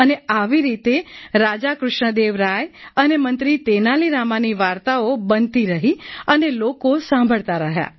અને આવી રીતે રાજા કૃષ્ણ દેવ રાય અને મંત્રી તેનાલી રામાની વાર્તાઓ બનતી રહી અને લોકો સાંભળતા રહ્યા